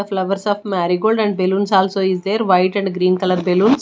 Flowers of marie gold and balloons also is there. White and green color balloons.